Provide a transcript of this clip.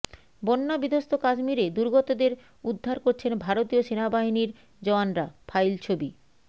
বন্যা বিধ্বংস্ত কাশ্মীরে দুর্গতদের উদ্ধার করছেন ভারতীয় সেনা বাহিনীর জওয়ানরা ফাইল ছবি